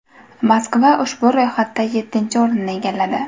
Moskva ushbu ro‘yxatda yettinchi o‘rinni egalladi.